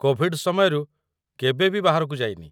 Covid ସମୟରୁ କେବେ ବି ବାହାରକୁ ଯାଇନି।